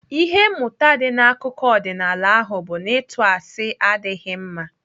Ihe mmụta dị n'akụkọ ọdịnaala ahụ bụ na ịtụ asị adịghị mma.